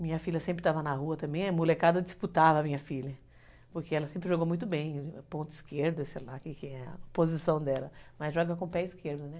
Minha filha sempre estava na rua também, a molecada disputava a minha filha, porque ela sempre jogou muito bem, ponto esquerdo, sei lá o que é a posição dela, mas joga com o pé esquerdo, né?